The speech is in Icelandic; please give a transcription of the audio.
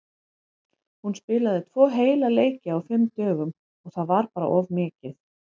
Hún spilaði tvo heila leiki á fimm dögum og það var bara of mikið.